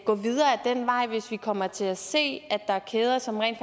gå videre ad den vej hvis vi kommer til at se at der er kæder som rent